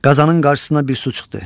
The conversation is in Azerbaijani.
Qazanın qarşısına bir su çıxdı.